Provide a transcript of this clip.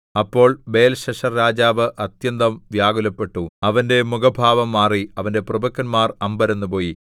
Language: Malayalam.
അപ്പോൾ ബേൽശസ്സർരാജാവ് അത്യന്തം വ്യാകുലപ്പെട്ടു അവന്റെ മുഖഭാവം മാറി അവന്റെ പ്രഭുക്കന്മാർ അമ്പരന്നുപോയി